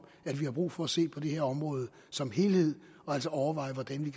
at vi har brug for at se på det her område som helhed og altså overveje hvordan vi